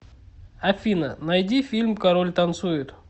афина найди фильм король танцует